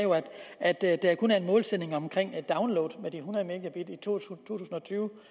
at at der kun er en målsætning om download med de hundrede tusind og tyve